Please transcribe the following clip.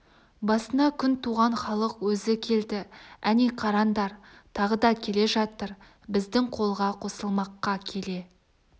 басына күн туған халық өзі келді әне қараңдар тағы да келе жатыр біздің қолға қосылмаққа келе